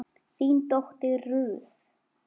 þín dóttir Ruth.